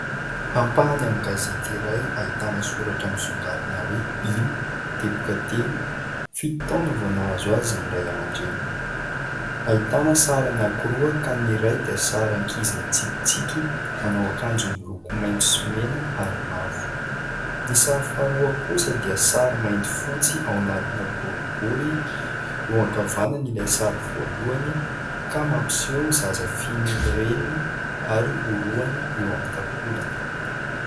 Ampahany amin'ny gazety iray, ahitana soratra misongadina hoe : Ilo... fito taona vao nahazo azy ny Ray amandreniny. Ahitana sary anankiroa ka : ny iray dia sary ankizy mitsikitsiky, manao akanjo miloko maitso sy mena ary mavo ; ny sary faharoa kosa dia sary mainty, fotsy ao anatina boribory, eo ankavanany ilay sary voalohany ka mampiseho zaza fihinin'ny Reniny ary orohany eo amin'ny takolany.